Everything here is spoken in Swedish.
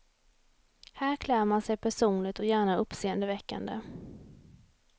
Här klär man sig personligt och gärna uppseendeväckande.